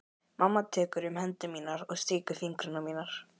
Mamma tekur um hendur mínar og strýkur fingrunum við mína.